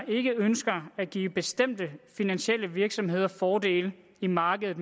ikke ønsker at give bestemte finansielle virksomheder fordele i markedet